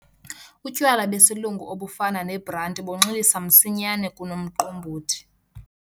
Utywala besilungu obufana nebranti bunxilisa msinyane kunomqombothi.